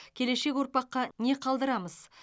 келешек ұрпаққа не қалдырамыз